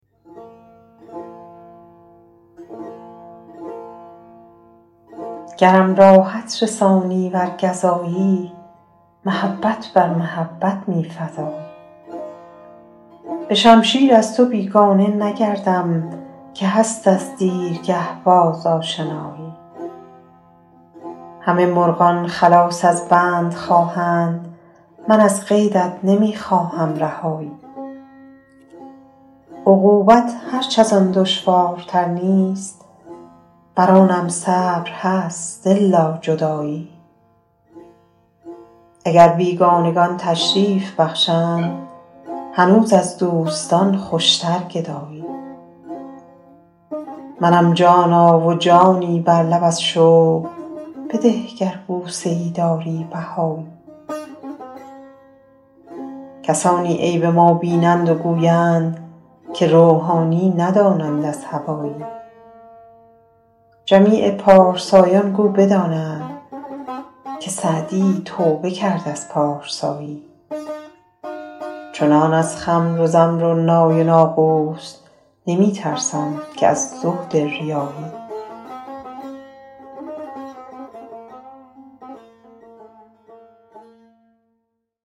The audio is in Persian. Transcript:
گرم راحت رسانی ور گزایی محبت بر محبت می فزایی به شمشیر از تو بیگانه نگردم که هست از دیرگه باز آشنایی همه مرغان خلاص از بند خواهند من از قیدت نمی خواهم رهایی عقوبت هرچ از آن دشوارتر نیست بر آنم صبر هست الا جدایی اگر بیگانگان تشریف بخشند هنوز از دوستان خوشتر گدایی منم جانا و جانی بر لب از شوق بده گر بوسه ای داری بهایی کسانی عیب ما بینند و گویند که روحانی ندانند از هوایی جمیع پارسایان گو بدانند که سعدی توبه کرد از پارسایی چنان از خمر و زمر و نای و ناقوس نمی ترسم که از زهد ریایی